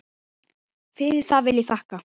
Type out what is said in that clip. Fyrir það vil ég þakka.